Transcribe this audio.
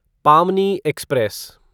पामनी एक्सप्रेस